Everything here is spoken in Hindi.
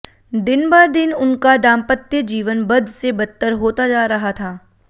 दिनबदिन उनका दाम्पत्य जीवन बद से बदतर होता जा रहा था